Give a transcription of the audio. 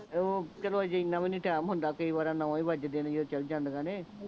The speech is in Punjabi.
ਓਹ ਚਲੋ ਹਜੇ ਐਨਾ ਵੀ ਨਹੀਂ ਟਾਈਮ ਹੁੰਦਾ ਕਈ ਵੇਰਾਂ ਨੌਂ ਹੀ ਵਜਦੇ ਨੇ ਜਦੋਂ ਚੱਲ ਜਾਂਦਿਆਂ ਨੇ